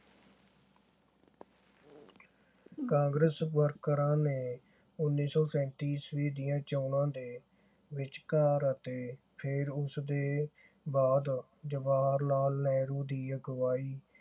ਕਾਂਗਰਸ ਵਰਕਰਾਂ ਨੇ ਉੱਨੀ ਸੌ ਸੈਂਤੀ ਈਸਵੀ ਦੀਆਂ ਚੋਣਾਂ ਦੇ ਵਿਚਕਾਰ ਅਤੇ ਫੇਰ ਉਸ ਦੇ ਬਾਅਦ ਜਵਾਹਰ ਲਾਲ ਨਹਿਰੂ ਦੀ ਅਗਵਾਈ